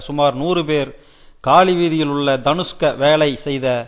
சுமார் நூறு பேர் காலி வீதியில் உள்ள தனுஷ்க வேலை செய்த